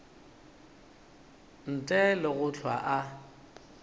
ntle le go hlwa a